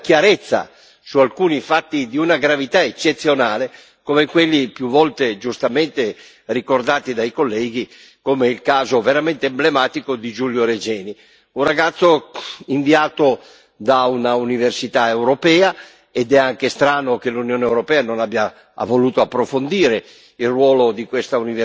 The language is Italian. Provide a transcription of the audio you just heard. dobbiamo parlare con molta chiarezza su alcuni fatti di una gravità eccezionale, come quelli, più volte e giustamente, ricordati dai colleghi, come il caso veramente emblematico di Giulio Regeni, un ragazzo inviato da una università europea ed è anche strano che l'Unione europea non abbia voluto approfondire